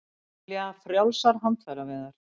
Vilja frjálsar handfæraveiðar